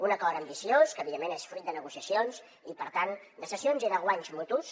un acord ambiciós que evidentment és fruit de negociacions i per tant de cessions i de guanys mutus